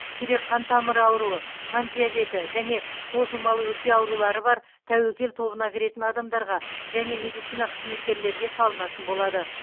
жүрек қан тамыры ауруы қант диабеті және созылмалы өкпе аурулары бар тәуекел тобына кіретін адамдарға және медицина қызметкерлерге салынатын болады